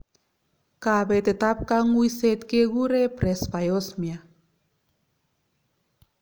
Kabetet ab kang'uiset kekuree presbyosmia